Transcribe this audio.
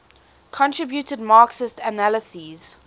contributed marxist analyses